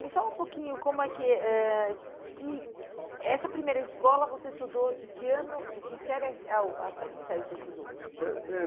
Me fala um pouquinho como é que eh que essa primeira escola você estudou, de que ano, de que série, a ao até que série você estudou? Eh eh